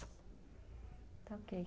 Está ok.